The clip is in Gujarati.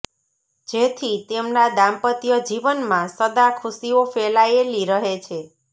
જેથી તેમના દામ્પત્ય જીવન મા સદા ખુશીઓ ફેલાયેલી રહે છે